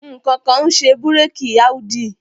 Ǹkankan ń ṣe bírèkì Audi.